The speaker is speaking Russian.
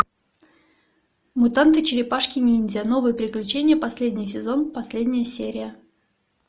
мутанты черепашки ниндзя новые приключения последний сезон последняя серия